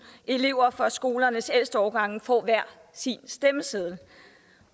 elever fra skolernes ældste årgange får hver sin stemmeseddel